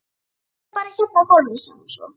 Settu hann bara hérna á gólfið, sagði hún svo.